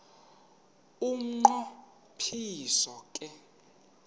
umnqo phiso ke